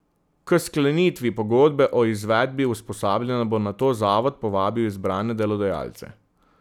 K sklenitvi pogodbe o izvedbi usposabljanja bo nato zavod povabil izbrane delodajalce.